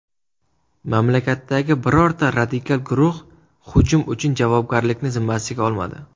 Mamlakatdagi birorta radikal guruh hujum uchun javobgarlikni zimmasiga olmadi.